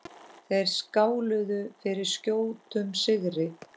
Þeir skáluðu fyrir skjótum sigri.